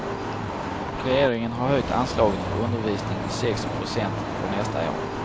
Regeringen har höjt anslaget för undervisning med sex procent för nästa år.